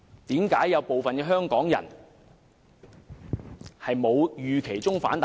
為何有部分港人沒有預期中的大反彈呢？